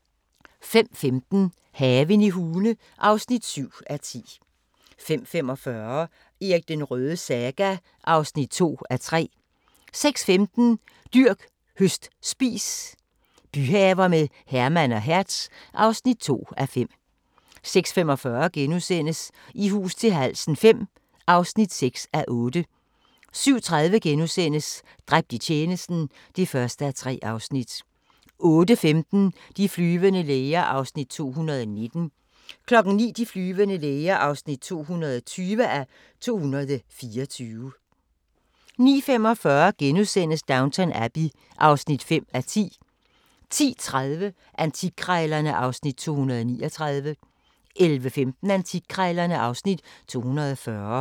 05:15: Haven i Hune (7:10) 05:45: Erik den Rødes saga (2:3) 06:15: Dyrk, høst, spis – byhaver med Herman og Hertz (2:5) 06:45: I hus til halsen V (6:8)* 07:30: Dræbt i tjenesten (1:3)* 08:15: De flyvende læger (219:224) 09:00: De flyvende læger (220:224) 09:45: Downton Abbey (5:10)* 10:30: Antikkrejlerne (Afs. 239) 11:15: Antikkrejlerne (Afs. 240)